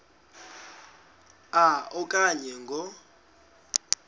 a okanye ngo